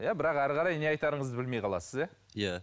иә бірақ ары қарай не айтарыңызды білмей қаласыз иә иә